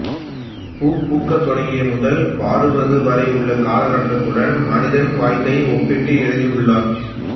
பூ பூக்கத் தொடங்கியது முதல் வாடுவது வரையுள்ள காலகட்டத்துடன் மனிதனின் வாழ்க்கையை ஒப்பிட்டு எழுதியுள்ளார்